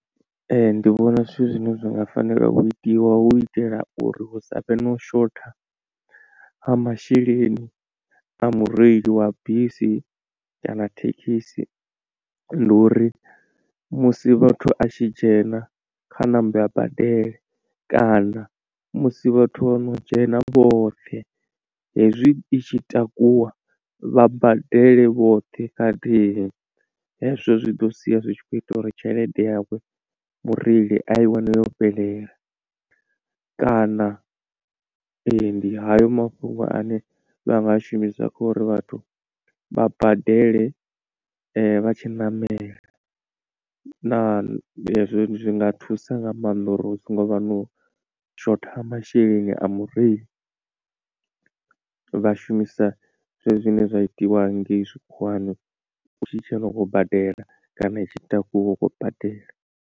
Ee ndi vhona zwithu zwine zwa nga fanela u itiwa hu itela uri hu sa vhe no shotha ha masheleni a mureili wa bisi kana thekhisi, ndi uri musi vhathu a tshi dzhena kha nambe a badele kana musi vhathu vho no dzhena vhoṱhe hezwi i tshi takuwa vha badele vhoṱhe khathihi. Hezwo zwi ḓo sia zwitshi kho ita uri tshelede yawe mureili a i wane yo fhelela, kana ee ndi hayo mafhungo ane vhanga a shumisa kha uri vhathu vha badele vha tshi ṋamela na zwi nga thusa nga maanḓa uri hu songo vha na u shotha ha masheleni a mureili vhashumisa zwezwi zwine zwa itiwa hanengeyi tshikhuwani u tshi dzhena u khou badela kana i tshi takuwa u khou badela.